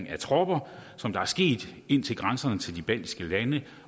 af tropper som der er sket ind til grænserne til de baltiske lande